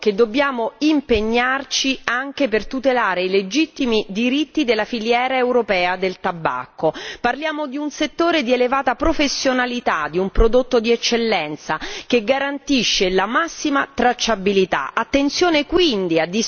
Quindi ritengo che dobbiamo impegnarci anche per tutelare i legittimi diritti della filiera europea del tabacco, parliamo di un settore di elevata professionalità, di un prodotto di eccellenza, che garantisce la massima tracciabilità.